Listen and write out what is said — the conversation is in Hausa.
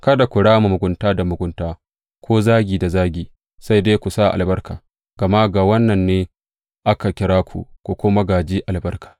Kada ku rama mugunta da mugunta ko zagi da zagi, sai dai ku sa albarka, gama ga wannan ne aka kira ku, ku kuma gāji albarka.